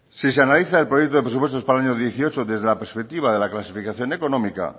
si se analiza el proyecto de presupuestos para el año dieciocho desde la perspectiva de la clasificación económica